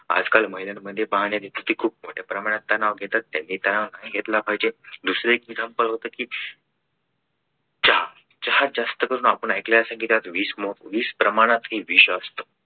आजकाल महिलांमध्ये पाहण्यात येते की खूप मोठ्या प्रमाणात तणाव घेतात त्याने तणाव नाही घेतला पाहिजे दुसरे example होतं की चहा चहात जास्त करून आपण ऐकले असेल की त्यात विष विष प्रमाणात हे विष असत.